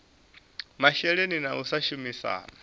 masheleni na u sa shumisana